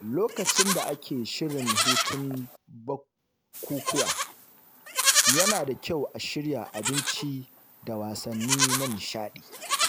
Lokacin da ake shirin hutun bukukuwa, yana da kyau a shirya abinci da wasanni na nishaɗi.